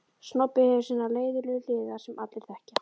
Snobbið hefur sínar leiðinlegu hliðar sem allir þekkja.